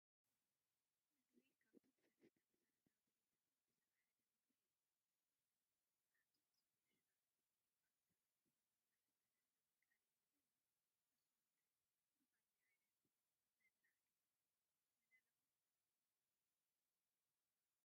ምግቢ፡- ካብቶም ሰለስተ መሰረታዊ ድልየታት ወዲ ሰብ ሓደ ምግቢ እዩ፡፡ ኣብዚ ስፔሻል ፋታ ንኽብላዕ ዝተዳለወ ተቐሪቡ ኣሎ፡፡ ንስኹም ከ ብኸምዚ ዓይነት ምብላዕ ዶ ንደለኹም?